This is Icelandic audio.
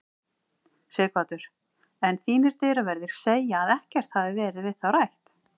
Sighvatur: En þínir dyraverðir segja að ekkert hafi verið við þá rætt?